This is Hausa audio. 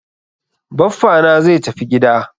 Baffa na zai tafi gida.